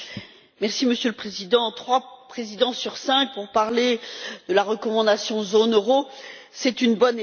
Monsieur le Président, trois présidents sur cinq pour parler de la recommandation zone euro, c'est une bonne étape.